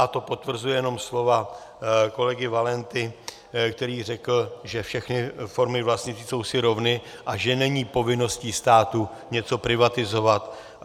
A to potvrzuje jenom slova kolegy Valenty, který řekl, že všechny formy vlastnictví jsou si rovny a že není povinností státu něco privatizovat.